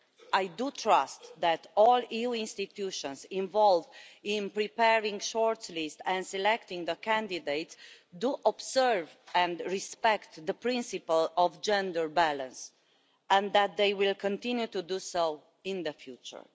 I trust that all EU institutions involved in preparing shortlists and selecting candidates observe and respect the principle of gender balance and that they will continue to do so in the future.